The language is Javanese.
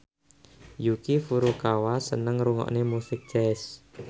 Yuki Furukawa seneng ngrungokne musik jazz